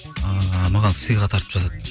ыыы маған сыйға тартып жатады